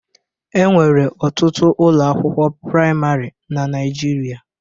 E nwere ọtụtụ ụlọ akwụkwo praịmarị na Naịjirịa.